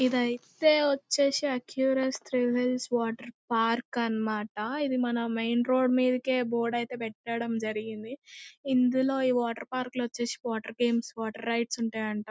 ఇదిఐతే వచ్చేసి ఆసీకర్స్ త్రివేల్స్ వాటర్ పార్క్ అన్నమాట ఇది మన మెయిన్ రోడ్ మీదకే బోర్డు అనేది పెట్టడం జరిగింది ఇందులో ఈ వాటర్ పార్క్ లో వచ్చేసి వాటర్ గేమ్స్ వాటర్ రైడ్స్ ఉంటాయంట--